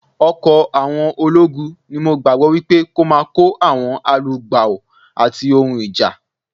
Ọkọ̀ àwọn ológun ni mo gbàgbọ́ wípé kó máa kó àwọn alugbàò ati ohun ìjà.